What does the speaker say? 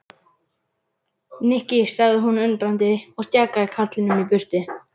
Nikki sagði hún undrandi og stjakaði karlinum í burtu.